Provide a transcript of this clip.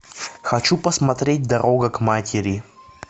хочу посмотреть дорога к матери